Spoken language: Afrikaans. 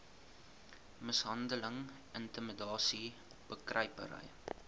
mishandeling intimidasie bekruipery